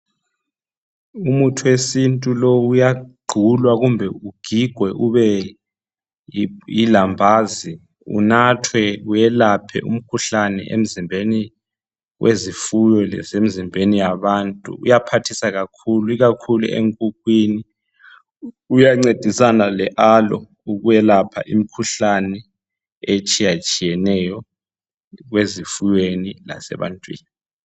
Umuthi wesintu lowu uyaqulwa kumbe ugigwe ube lilambazi unathwe uyelaphe umkhuhlane emzimbeni wezifuyo lase mzimbeni yabantu. Uyaphathisa kakhulu, ikakhulu enkukhwini. Uyancedisana le aloe ukwelapha imkhuhlane etshiyatshiyeneyo ezifuweni lase bantwini.